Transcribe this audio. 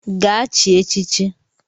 Gaa chie echichi